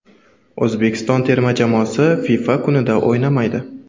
O‘zbekiston termasi FIFA kunida o‘ynamaydi.